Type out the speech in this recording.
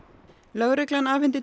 lögreglan afhenti